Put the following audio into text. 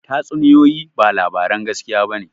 Tatsuniyoyi ba labaran gaskiya ba ne